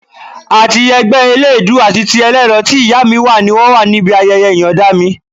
Àti ẹgbẹ́ eléèédú àti ti ẹlẹ́rọ tí ìyá mi wà ni wọ́n wà níbí ayẹyẹ ìyọ̀nda mi